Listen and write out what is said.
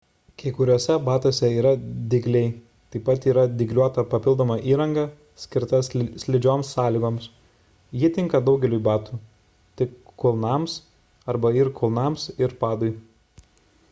kai kuriuose batuose yra dygliai taip pat yra dygliuota papildoma įranga skirta slidžioms sąlygoms ji tinka daugeliui batų tik kulnams arba ir kulnams ir padui